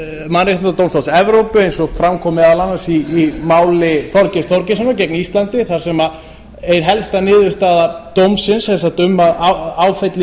mannréttindadómstóls evrópu eins og fram kom meðal annars í máli þorgeirs þorgeirssonar gegn íslandi þar sem ein helsta niðurstaða dómsins sem sagt um að áfella